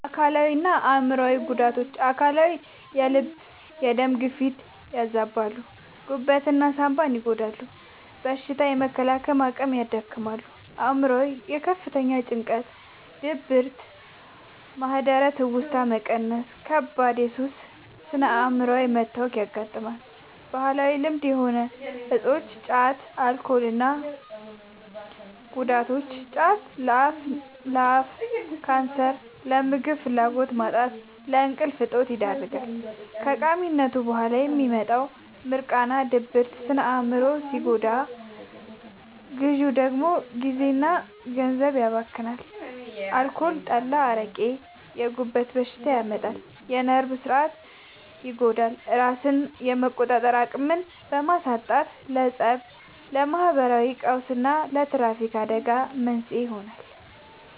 አካላዊና አእምሯዊ ጉዳቶች፦ አካላዊ፦ የልብና የደም ግፊትን ያዛባሉ፣ ጉበትና ሳንባን ይጎዳሉ፣ በሽታ የመከላከል አቅምን ያዳክማሉ። አእምሯዊ፦ ለከፍተኛ ጭንቀት፣ ድብርት፣ ማህደረ-ትውስታ መቀነስና ለከባድ የሱስ ስነ-አእምሯዊ መታወክ ያጋልጣሉ። ባህላዊ ልማድ የሆኑ እፆች (ጫትና አልኮል) እና ጉዳታቸው፦ ጫት፦ ለአፍ ካንሰር፣ ለምግብ ፍላጎት ማጣትና ለእንቅልፍ እጦት ይዳርጋል። ከቃሚነቱ በኋላ የሚመጣው «ሚርቃና» (ድብርት) ስነ-አእምሮን ሲጎዳ፣ ግዢው ደግሞ ጊዜና ገንዘብን ያባክናል። አልኮል (ጠላ፣ አረቄ)፦ የጉበት በሽታ ያመጣል፣ የነርቭ ሥርዓትን ይጎዳል፤ ራስን የመቆጣጠር አቅምን በማሳጣትም ለፀብ፣ ለማህበራዊ ቀውስና ለትራፊክ አደጋዎች መንስኤ ይሆናል።